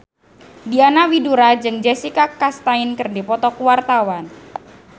Diana Widoera jeung Jessica Chastain keur dipoto ku wartawan